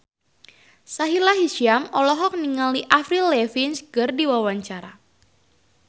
Sahila Hisyam olohok ningali Avril Lavigne keur diwawancara